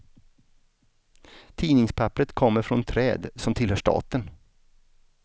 Tidningspapperet kommer från träd som tillhör staten.